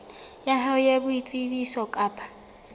ya hao ya boitsebiso kapa